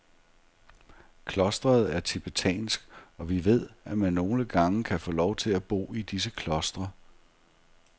Klostret er tibetansk, og vi ved, at man nogle gange kan få lov til at bo i disse klostre.